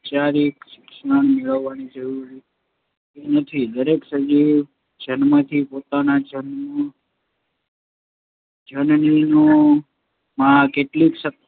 ઔપચારિક શિક્ષણ મેળવવાની જરૂર રહેતી નથી. દરેક સજીવ જન્મથી જ પોતાના જન્મનું જનીનોમાં કેટલીક શક્તિઓ